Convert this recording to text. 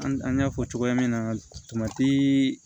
An y'a fɔ cogoya min na